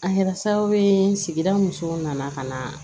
A kɛra sababu ye sigida musow nana ka na